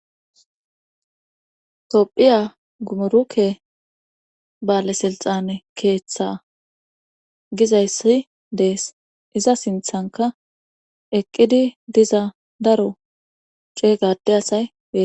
Tophiya gumuruke baale silxane keeththa gizayssi dees iza sinthanka eqqidi diza daro ceegade asay ee